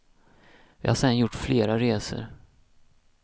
Vi har sen gjort flera resor.